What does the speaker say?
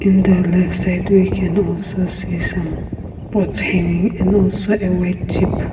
in the left side we can also see some pots hanging and also a white jeep.